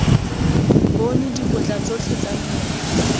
bone dikotla tsotlhe tse mmele